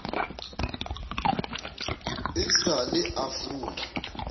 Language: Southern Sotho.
e sa le a fula